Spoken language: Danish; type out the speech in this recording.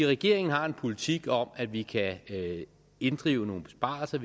regeringen har en politik om at vi kan inddrive nogle besparelser